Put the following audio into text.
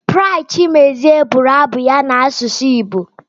Bright Chimezie bụrụ abụ ya n'asụsụ Igbo.